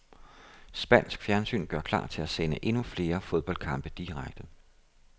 Spansk fjernsyn gør klar til at sende endnu flere fodboldkampe direkte.